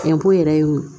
Cɛnko yɛrɛ ye o ye